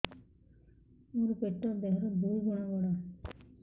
ମୋର ପେଟ ଦେହ ର ଦୁଇ ଗୁଣ ବଡ